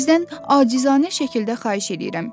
Sizdən acizanə şəkildə xahiş edirəm.